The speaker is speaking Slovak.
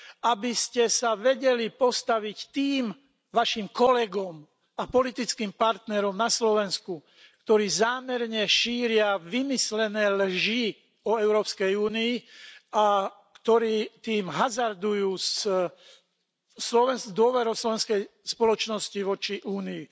Aby ste sa vedeli postaviť tým svojim kolegom a politickým partnerom na Slovensku, ktorí zámerne šíria vymyslené lži o Európskej únii a ktorí tým hazardujú s dôverou slovenskej spoločnosti voči únii.